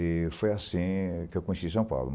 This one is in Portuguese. E foi assim que eu conheci São Paulo.